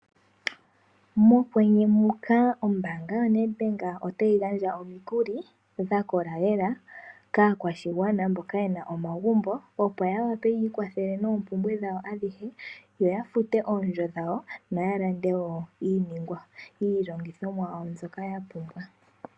Mokwenye muka ombaanga yoNedbank otayi gandja omikuli dhakola lela, kaakwashigwana mboka yena omagumbo, opo yawape yiikwathele noompumbwe dhawo adhihe, ya fute oondjo dhawo, yo yalande wo iilongithomwa yawo mbyoka yapumbwa.